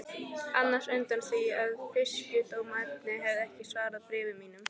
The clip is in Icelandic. annars undan því að Fisksjúkdómanefnd hefði ekki svarað bréfum mínum.